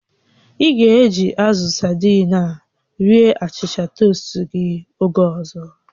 Ị ga-eji azụ sadii a rie achịcha toast gị oge ọzọ